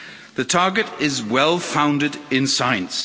The target is well founded in science.